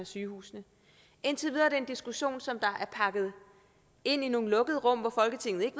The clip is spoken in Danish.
sygehusene indtil videre er det en diskussion som er pakket ind i nogle lukkede rum hvor folketinget ikke